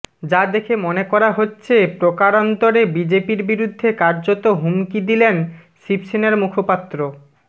যা দেখে মনে করা হচ্ছে প্রকারান্তরে বিজেপির বিরুদ্ধে কার্যত হুমকি দিলেন শিবসেনার মুখপাত্র